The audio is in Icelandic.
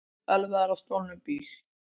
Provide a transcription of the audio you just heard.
Ölvaður á stolnum bíl